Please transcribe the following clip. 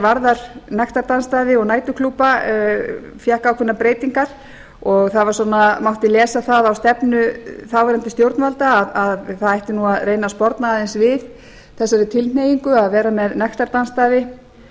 varðar nektardansstaði og næturklúbba fékk ákveðnar breytingar og það svona mátti lesa það á stefnu þáverandi stjórnvalda að það ætti nú að reyna að sporna aðeins við þessari tilhneigingu að vera með